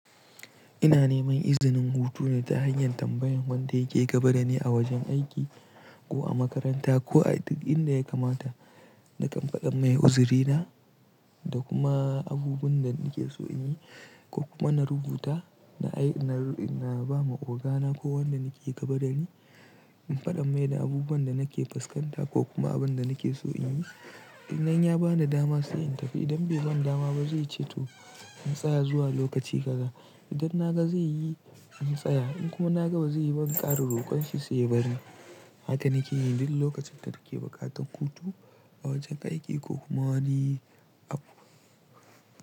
Ina neman izinin hutu ne ta hanyar tambayan wanda yake gaba da ni a wajen aiki ko a makaranta ko a duk inda yakamata nakan faɗa mai uzarina da kuma abubuwan da nake so in yi ko kuma na rubuta na ba ma ogana ko wanda nake gabada ni. In faɗa mai da abubuwan da nake fuskanta ko kuma abun da nake so in yi. Idan ya bani dama sai in tafi. Idan bai bani dama ba zai ce to in tsaya zuwa lokaci kaza. Idan na ga zai yi in tsaya in kuma na ga ba zai yi ba, in ƙara rokan shi sai ya bari. Haka nake yi duk lokacin da nake buƙatar hutu a wajen aiki ko kuma wani abu.